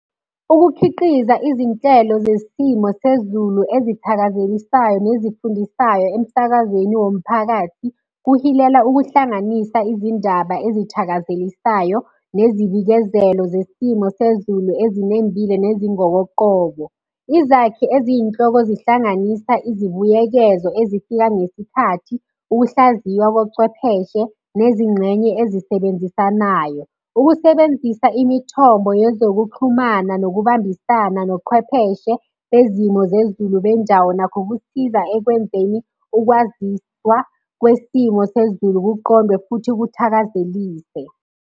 Ukukhiqiza izinhlelo zesimo sezulu ezithakazelisayo nezifundisayo emsakazweni womphakathi, kuhilela ukuhlanganisa izindaba ezithakazelisayo ngezibikezela zesimo sezulu ezinembile nezingokoqobo. Izakhi eziyinhloko zihlanganisa izibuyekezo ezifika ngesikhathi ukuhlaziywa kocwepheshe nezingxenye ezisebenzisanayo. Ukusebenzisa imithombo yezokuxhumana nokubambisana noqhwepheshe bezimo zezulu bendawo nakho kusiza ekwenzeni ukwaziswa kwesimo sezulu kuqondwe futhi kuthakazeliswe.